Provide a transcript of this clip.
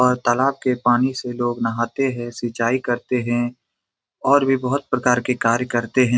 और तालाब के पानी से लोग नहाते हैं सिचाई करते हैं और भी बहुत प्रकार के कार्य करते हैं।